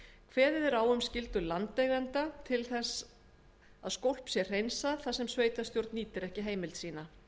kveðið er á um skyldu landeigenda til að sjá til þess að skólp sé hreinsað þar sem sveitarstjórn nýtir ekki heimild sína